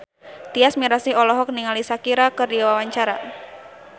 Tyas Mirasih olohok ningali Shakira keur diwawancara